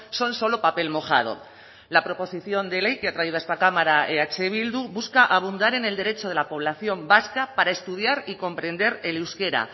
son solo papel mojado la proposición de ley que ha traído a esta cámara eh bildu busca abundar en el derecho de la población vasca para estudiar y comprender el euskera